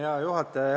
Hea juhataja!